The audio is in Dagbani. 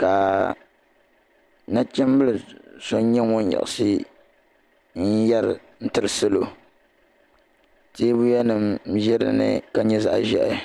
ka Nachimbila so nyɛ ŋun yiɣisi n yeri tiri salo teebuya nima ʒɛ dinni la nyɛ zaɣa ʒehi.